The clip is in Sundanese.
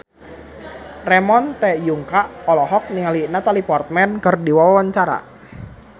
Ramon T. Yungka olohok ningali Natalie Portman keur diwawancara